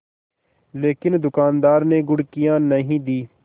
लेकिन दुकानदार ने घुड़कियाँ नहीं दीं